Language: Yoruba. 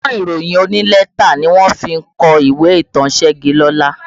Ọgbọ́n ìròyìn onílẹ́tà ni wọ́n fi kọ ìwé ìtàn Segilola